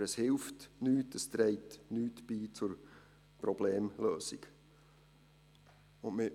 Aber es hilft nichts, es trägt nichts zur Problemlösung bei.